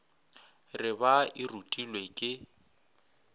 re ba e rutilwe ke